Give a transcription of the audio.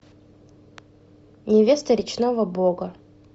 невеста речного бога